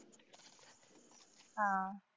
आह